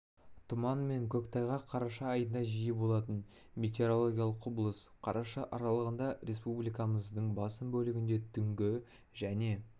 тұман мен көктайғақ қараша айында жиі болатын метеорологиялық құбылыс қараша аралығында республикамыздың басым бөлігінде түнгі және